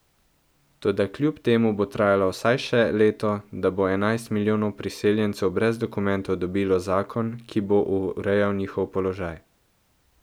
Toda kljub temu bo trajalo vsaj še leto, da bo enajst milijonov priseljencev brez dokumentov dobilo zakon, ki bo urejal njihov položaj.